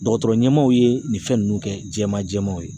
Dɔgɔtɔrɔ ɲɛmaaw ye nin fɛn ninnu kɛ jɛman jɛmanw ye